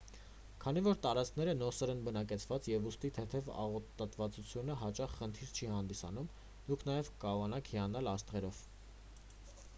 քանի որ տարածքները նոսր են բնակեցված և ուստի թեթև աղտոտվածությունը հաճախ խնդիր չի հանդիսանում դուք նաև կկարողանաք հիանալ աստղերով